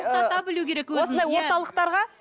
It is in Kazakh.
тоқтата білуі керек өзін иә